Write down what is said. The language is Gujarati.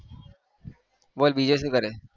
બોલ બીજું શું કરે છે?